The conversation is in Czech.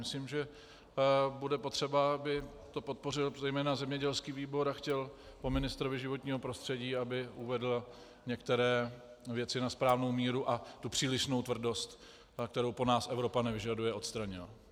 Myslím, že bude potřeba, aby to podpořil zejména zemědělský výbor a chtěl po ministrovi životního prostředí, aby uvedl některé věci na správnou míru, a tu přílišnou tvrdost, kterou po nás Evropa nevyžaduje, odstranil.